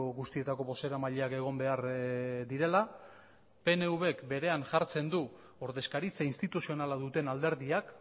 guztietako bozeramaileak egon behar direla pnvk berean jartzen du ordezkaritza instituzionala duten alderdiak